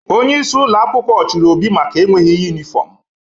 Onyeisi ụlọ akwụkwọ chụrụ Obi maka enweghi yunifọmụ.